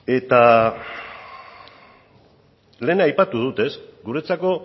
eta lehen aipatu dut guretzako